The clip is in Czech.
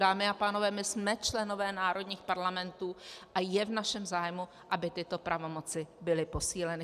Dámy a pánové, my jsme členové národních parlamentů a je v našem zájmu, aby tyto pravomoci byly posíleny.